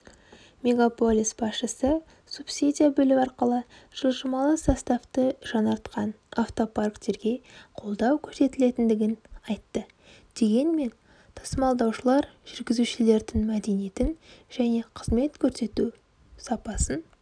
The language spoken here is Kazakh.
мегаполис басшысы субсидия бөлу арқылы жылжымалы составты жаңартқан автопарктерге қолдау көрсетілетінін айтты дегенмен тасымалдаушылар жүргізушілердің мәдениетін және қызмет көрсету сапасын